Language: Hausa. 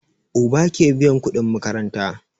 Uba ke biyan kudin makaranta